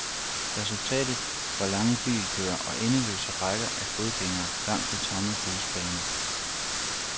Resultatet var lange bilkøer og endeløse rækker af fodgængere langs de tomme busbaner.